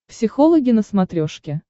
психологи на смотрешке